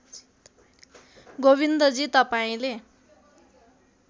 गोविन्दजी तपाईँले